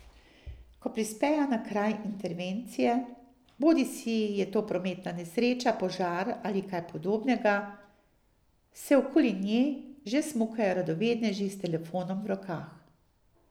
Ko prispejo na kraj intervencije, bodisi je to prometna nesreča, požar ali kaj podobnega, se okoli nje že smukajo radovedneži s telefonom v rokah.